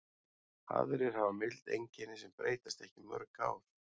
Aðrir hafa mild einkenni sem breytast ekki í mörg ár.